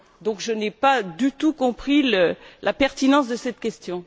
Donc, je n'ai pas du tout compris la pertinence de cette question.